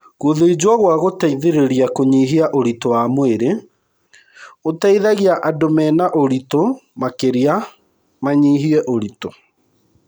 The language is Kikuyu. Gũthĩnjwo gwa gũteithĩrĩria kũnyihia ũritũ wa mwĩrĩ ũteithagia andũ mena ũritũ makĩria manyihie ũritũ.